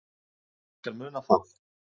Ég skal muna það.